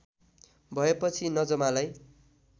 भएपछि नजमालाई